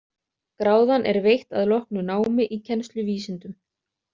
Gráðan er veitt að loknu námi í kennsluvísindum.